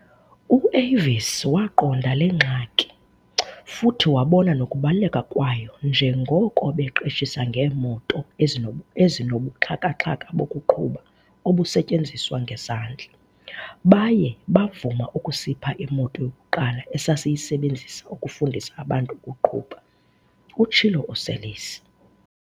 "U-Avis wayiqonda le ngxaki, futhi wabona nokubaluleka kwayo njengoko beqeshisa ngeemoto ezinobuxhaka-xhaka bokuqhuba obusetyenziswa ngezandla. Baye bavuma ukusipha imoto yokuqala esasiyisebenzisa ukufundisa abantu ukuqhuba," utshilo uSeirlis.